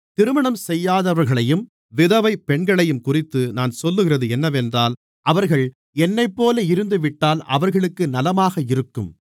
திருமணம் செய்யாதவர்களையும் விதவை பெண்களையும்குறித்து நான் சொல்லுகிறது என்னவென்றால் அவர்கள் என்னைப்போல இருந்துவிட்டால் அவர்களுக்கு நலமாக இருக்கும்